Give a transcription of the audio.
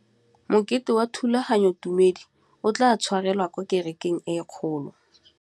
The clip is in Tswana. Mokete wa thulaganyôtumêdi o tla tshwarelwa kwa kerekeng e kgolo.